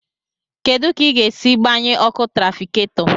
Kedu ka ị ga-esi gbanye ọkụ tràfikáto